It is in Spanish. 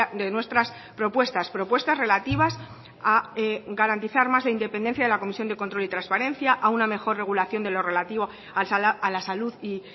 de nuestras propuestas propuestas relativas a garantizar más la independencia de la comisión de control y transparencia a una mejor regulación de lo relativo a la salud y